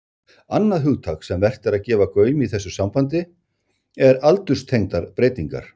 Annað hugtak sem vert er að gefa gaum í þessu sambandi er aldurstengdar breytingar.